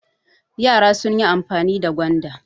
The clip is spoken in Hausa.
Yara sun yi amfani da gwanda.